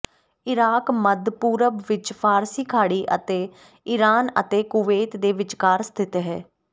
Iraq ਮੱਧ ਪੂਰਬ ਵਿੱਚ ਫ਼ਾਰਸੀ ਖਾੜੀ ਅਤੇ ਇਰਾਨ ਅਤੇ ਕੁਵੈਤ ਦੇ ਵਿਚਕਾਰ ਸਥਿਤ ਹੈ